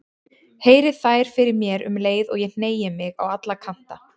Heyri þær fyrir mér um leið og ég hneigi mig á alla kanta.